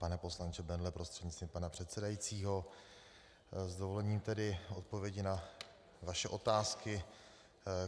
Pane poslanče Bendle prostřednictvím pana předsedajícího, s dovolením tedy odpovědi na vaše otázky.